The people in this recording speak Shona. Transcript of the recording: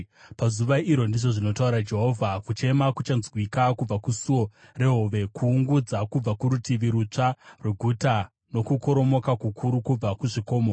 “Pazuva iro,” ndizvo zvinotaura Jehovha, “kuchema kuchanzwikwa kubva kuSuo reHove, kuungudza kubva kuRutivi Rutsva rweguta, nokukoromoka kukuru kubva kuzvikomo.